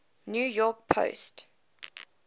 new york post